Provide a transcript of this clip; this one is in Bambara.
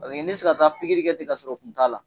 Paseke ne ti se ka taa kɛ ten ka sɔrɔ kun t'a la.